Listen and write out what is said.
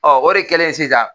o de kɛlen sisan